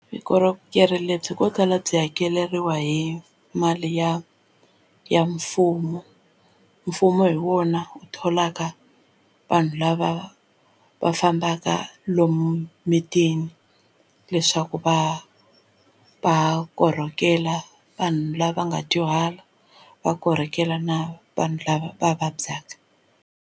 Vukorhokeri lebyi ko tala byi hakeriwa hi mali ya ya mfumo mfumo hi wona eu tholaka vanhu lava va fambaka a lomu mitini leswaku va va korhokela vanhu lava nga dyuhala va korhokela na vanhu lava va vabyaka.